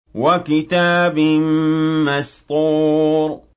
وَكِتَابٍ مَّسْطُورٍ